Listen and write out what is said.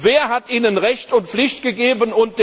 Wer hat ihr Recht und Pflicht gegeben?